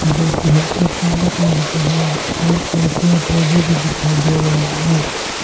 जोकि हल्का काला कलर का है और बहुत सारे पेड़ पौधे भी दिखाई दे रहे हैं।